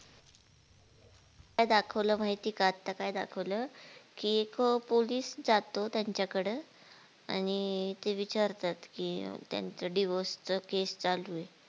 काय दाखवलं माहिती का आता काय दाखवलं कि एक पोलीस जातो त्याचा कड आणि ते विचारतात कि त्याचं divors case चालू हे.